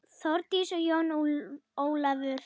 Þórdís og Jón Ólafur.